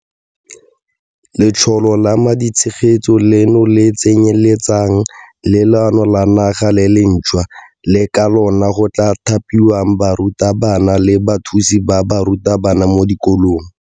Letsholo la maditshegetso leno le tsenyeletsa le leano la naga le lentšhwa le ka lona go tla thapiwang barutabana le bathusi ba barutabana mo dikolong.